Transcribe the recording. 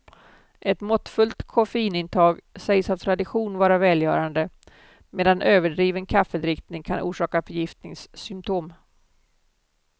Ett måttfullt koffeinintag sägs av tradition vara välgörande, medan överdriven kaffedrickning kan orsaka förgiftningssymptom.